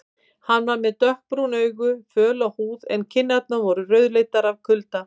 Hann var með dökkbrún augu, föla húð en kinnarnar voru rauðleitar af kulda.